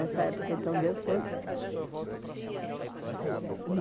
nessa época. Então, na educação dessa época já se discutia a proposta de Paulo Freire?